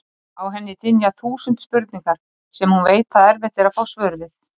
Á henni dynja þúsund spurningar sem hún veit að erfitt er að fá svör við.